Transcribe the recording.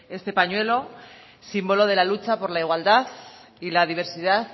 este pañuelo símbolo de la lucha por la igualdad y la diversidad